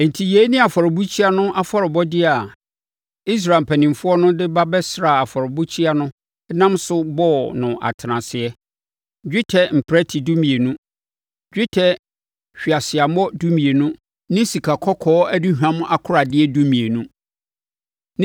Enti, yei ne afɔrebukyia no afɔrebɔdeɛ a Israel mpanimfoɔ de ba bɛsraa afɔrebukyia no nam so bɔɔ no atenaseɛ: dwetɛ mprɛte dumienu, dwetɛ hweaseammɔ dumienu ne sikakɔkɔɔ aduhwam akoradeɛ dumienu.